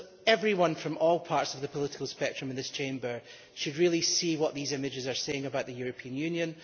Everyone from all parts of the political spectrum in this Chamber should see what these images are saying about the European Union.